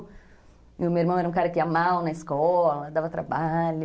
E o meu irmão era um cara que ia mal na escola, dava trabalho.